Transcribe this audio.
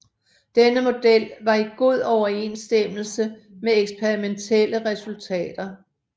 Denne model var i god overensstemmelse med eksperimentelle resultater